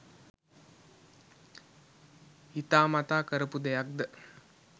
හිතාමත කරපු දෙයක්ද